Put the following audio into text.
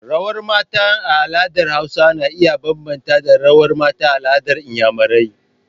Rawar mata a al'adar hausa na iya bambanta da rawar mata a al'adar iyamarai.